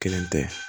Kelen tɛ